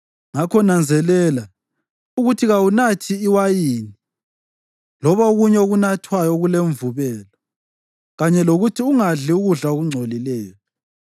Ngakho nanzelela ukuthi kawunathi wayini loba okunye okunathwayo okulemvubelo kanye lokuthi ungadli ukudla okungcolileyo,